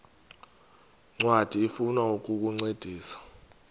ncwadi ifuna ukukuncedisa